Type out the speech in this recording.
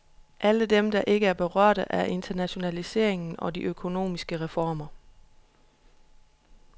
Alle dem, der ikke er berørte af internationaliseringen og de økonomiske reformer.